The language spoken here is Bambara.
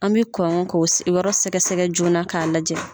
An bɛ kɔn k'o yɔrɔ sɛgɛ-sɛgɛ joona k'a lajɛ.